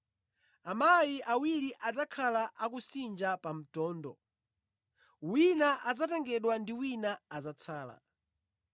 Amayi awiri adzakhala akusinja pa mtondo; wina adzatengedwa ndi wina adzatsala.